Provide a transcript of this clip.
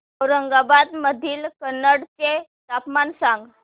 औरंगाबाद मधील कन्नड चे तापमान सांग